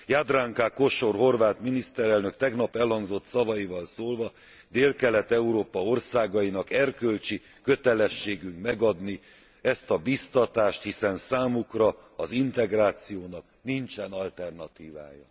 Jadranka Kosor horvát miniszterelnök tegnap elhangzott szavaival szólva Délkelet Európa országainak erkölcsi kötelességünk megadni ezt a bíztatást, hiszen számukra az integrációnak nincsen alternatívája.